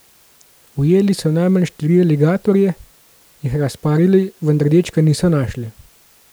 Ujeli so najmanj štiri aligatorje, jih razparali, vendar dečka niso našli.